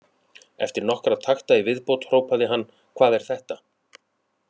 Eftir nokkra takta í viðbót hrópaði hann: Hvað er þetta?